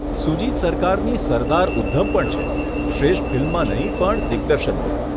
સુજીત સરકારની 'સરદાર ઉધ્ધમ' પણ છે, શ્રેષ્ઠ ફિલ્મમાં નહીં પણ દિગ્દર્શનમાં.